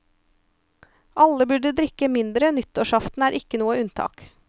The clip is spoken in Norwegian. Alle burde drikke mindre, nyttårsaften er ikke noe unntak.